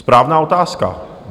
Správná otázka.